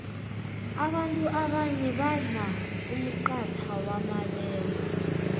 abanfu abanye badlaumxatha wamabele